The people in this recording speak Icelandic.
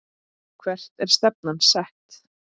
Hvert er stefnan sett?